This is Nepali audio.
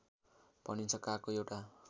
भनिन्छ कागको एउटा